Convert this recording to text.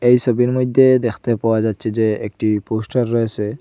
এই সোবির মইধ্যে দেখতে পাওয়া যাচ্ছে যে একটি পোস্টার রয়েসে।